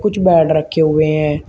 कुछ बेड रखे हुए हैं।